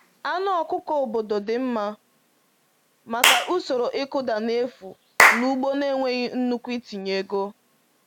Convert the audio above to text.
Anụ ọkụkọ obodo dị mma maka usoro ịkụda n’efu na ugbo na-enweghị nnukwu itinye ego.